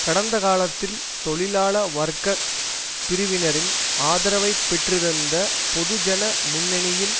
கடந்த காலத்தில் தொழிலாள வர்க்க பிரிவினரின் ஆதரவை பெற்றிருந்த பொதுஜன முன்னணியின்